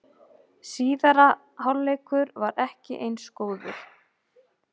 Síðari hálfleikur var ekki eins góður